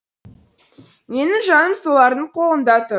менің жаным солардың қолында тұр